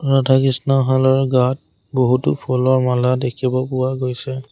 ৰাধা কৃষ্ণ হালৰ গাত বহুতো ফুলৰ মালা দেখিব পোৱা গৈছে।